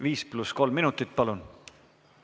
Viis pluss kolm minutit palun!